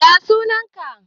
ya sunanka?